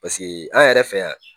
Paseke an yɛrɛ fɛ yan